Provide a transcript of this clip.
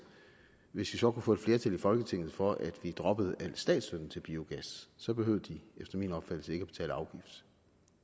hvis vi så kunne få et flertal i folketinget for at vi droppede al statsstøtten til biogas så behøvede de efter min opfattelse ikke at betale afgift